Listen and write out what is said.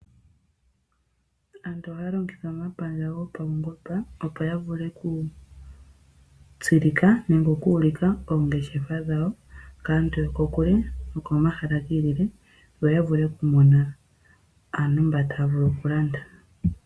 Aantu oha ya longitha omapandja gopaungomba, opo ya vule oku tsilika nenge, oku ulika oongeshefa dhawo kaantu yokokule, yokomahala giilile. Opo ya vule oku mona aantu mboka ta ya vulu oku landa.